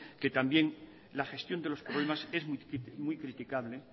que también la gestión de los problemas es muy criticable